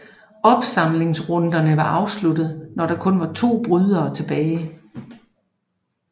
Opsamlingsrunderne var afsluttet når der kun var to brydere tilbage